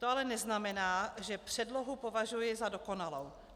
To ale neznamená, že předlohu považuji za dokonalou.